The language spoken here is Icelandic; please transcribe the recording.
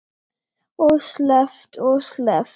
Og sleppt og sleppt.